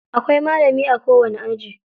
Akwai malami a kowani aji.